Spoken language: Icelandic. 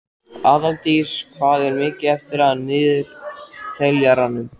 Aðaldís, hvað er mikið eftir af niðurteljaranum?